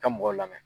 Ka mɔgɔw lamɛn